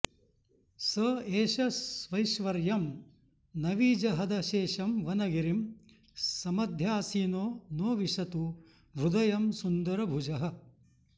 स एष स्वैश्वर्यं नविजहदशेषं वनगिरिं समध्यासीनो नो विशतु हृदयं सुन्दरभुजः